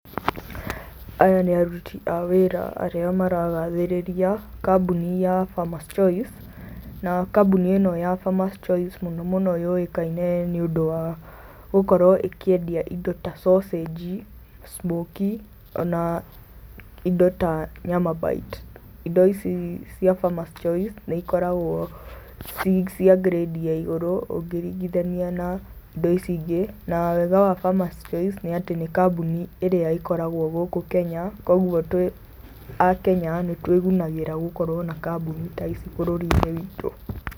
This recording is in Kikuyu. Aya nĩ aruti a wĩra arĩa maragathĩrĩria kambuni ya Farmer's Choice. Na kambuni ĩ no ya Farmer's Choice mũno mũno yũwĩkaine nĩũndũ wa gũkorwo ĩ kĩendia ĩndo ta sausage, smokie o na indo ta nyama bite. Indo ici cia Farmer's Choice nĩikoragwo ci cia grade ya igũrũ ukĩringithania na indo ici ingĩ na wega wa Farmer's Choice nĩ atĩ nĩ kambuni ĩrĩa ĩkoragwo gũkũ Kenya kogwo twĩ akenya nĩtwĩgũnagĩra gũkorwo na kambuni ta ici bũrũri-inĩ witũ.